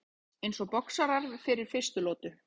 Eins og boxarar fyrir fyrstu lotu.